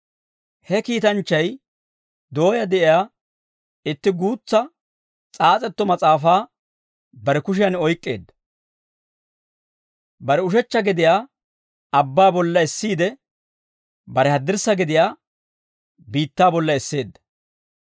He kiitanchchay dooyaa de'iyaa itti guutsa s'aas'etto mas'aafaa bare kushiyan oyk'k'eedda. Bare ushechcha gediyaa abbaa bolla essiide, bare haddirssa gediyaa biittaa bolla esseedda.